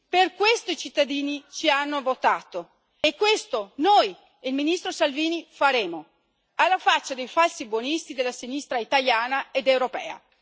Per questo i cittadini ci hanno votato e questo noi e il ministro Salvini faremo alla faccia dei falsi buonisti della sinistra italiana ed europea.